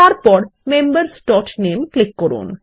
তারপর membersনামে ক্লিক করুন